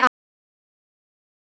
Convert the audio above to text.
Kæri afi.